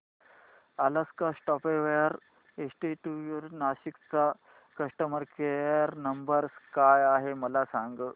Alaska software institute Nashik चा customer care number काय आहे मला सांग